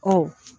Ɔ